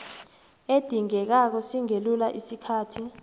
edingekako singelula isikhathi